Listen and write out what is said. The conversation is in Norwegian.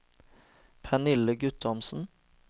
Pernille Guttormsen